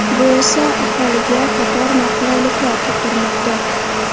Bu esa, aholiga qator noqulayliklar tug‘dirmoqda.